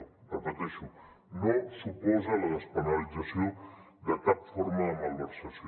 ho repeteixo no suposa la despenalització de cap forma de malversació